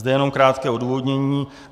Zde jenom krátké odůvodnění.